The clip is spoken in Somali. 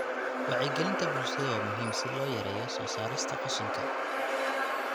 Wacyigelinta bulshada waa muhiim si loo yareeyo soo saarista qashinka.